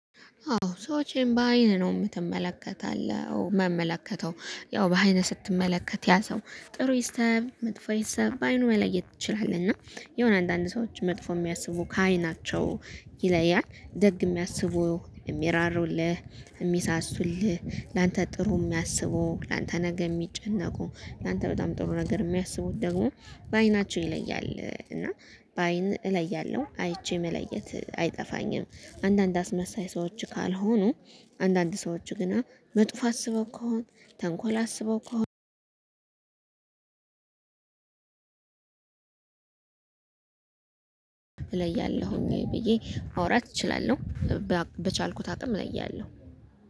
አዎ ሰዎችን በአይን ነው የምትመለከታለህ ምመለከተው ያው በአይን ስትመለከት ያ ሰው ጥሩ ይሰብ መጥፎ ይሰብ በአይኑ መለየት ትችላለህ። እና የሆነ አንዳንድ ሰዎች መጥፎ የሚያስቡ ከዓይናቸው ይለያል ደግ የሚያስቡ የሚራሩልህ የሚሳሱልህ ላንተ ጥሩ የሚያስቡ ላንተ ነገ የሚጨነቁ ላንተ በጣም ጥሩ ነገር የሚያስቡት ደግሞ በአይናቸው ይለያል። እና በአይን እለያለሁ አይቼ መለየት አይጠፋኝም። አንዳንድ አስመሳይ ሰዎች ካልሆኑ አንዳንድ ሰዎች ገና መጥፎ አስበው ከሆነ ተንኮል አስበው ከሆነ እለያለሁኝ ብዬ ማውራት እችላለሁ። በቻልኩት አቅም እለያሁ